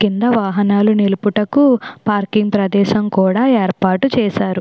కింద వాహనాలు నిలుపుటకు పార్కింగ్ ప్రదేశం కూడా ఏర్పాటు చేశారు.